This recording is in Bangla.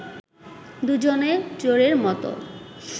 দুজনে চোরের মত